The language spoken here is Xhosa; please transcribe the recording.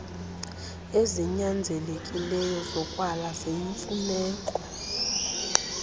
ezinyanzelekileyo zokwala ziyimfuneko